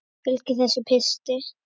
Og fylgir þessum pistli.